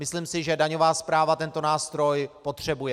Myslím si, že daňová správa tento nástroj potřebuje.